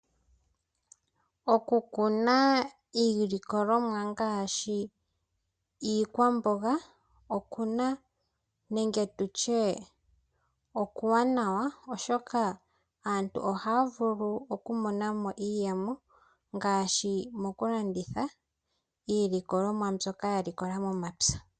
Okukuna iilikolomwa ngaashi iikwamboga okuwanawa oshoka aantu ohaya vulu oku monamo iiyemo ngaashi mokulanditha iilikolomwa yawo mbyoka ya likola momapya.